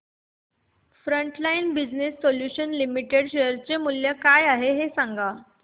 frontline business solutions limited share चे मूल्य काय आहे हे सांगा